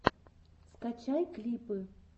скачай клипы